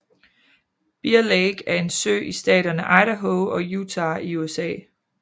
Bear Lake er en sø i staterne Idaho og Utah i USA